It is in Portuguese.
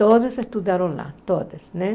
Todas estudaram lá, todas, né?